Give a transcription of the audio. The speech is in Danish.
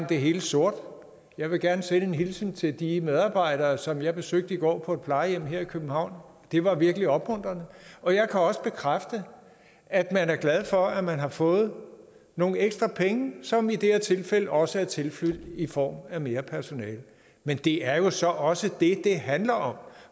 det hele sort jeg vil gerne sende en hilsen til de medarbejdere som jeg besøgte i går på et plejehjem her i københavn det var virkelig opmuntrende og jeg kan også bekræfte at man er glad for at man har fået nogle ekstra penge som i det her tilfælde også er tilflydt i form af mere personale men det er jo så også det det handler om